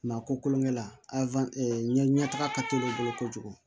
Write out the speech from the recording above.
Maa ko kolonkɛ la ɲɛ taga ka teli olu bolo kojugu